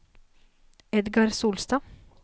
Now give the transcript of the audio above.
Edgar Solstad